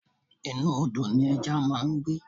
Inú Odò ni ẹja máa ń gbé.